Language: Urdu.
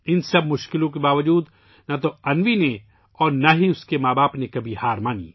ان تمام مشکلات کے باوجود نہ تو انوی نے اور نہ ہی اس کے والدین نے کبھی ہمت ہاری